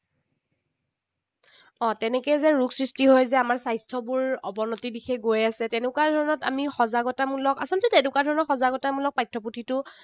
অ তেনেকে যে ৰোগ সৃষ্টি হৈ যে আমাৰ স্বাস্থ্যবোৰ অৱনতিৰ দিশে গৈ আছে, তেনেকুৱা ধৰণৰ আমি সজাগতামূলক আচলতে তেনেকুৱা ধৰণৰ সজাগতামূলক পাঠ্য পুথিতো